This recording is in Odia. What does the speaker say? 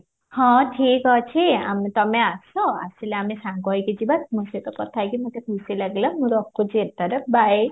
ହଁ ହତିକ ଅଛି ଆମେ ତମେ ଆସ ଆସିଲେ ଆମେ ସାଙ୍ଗ ହେଇକି ଯିବା ତମ ସହିତ କଥା ହେଇକି ମୁଁ ଟିକେ ଖୁସି ମୁଁ ରଖୁଚି ଏଥର bye